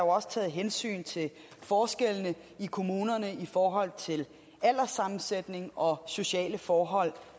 også taget hensyn til forskellene i kommunerne i forhold til alderssammensætning og sociale forhold